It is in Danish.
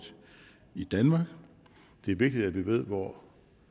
i danmark det er vigtigt at vi ved hvor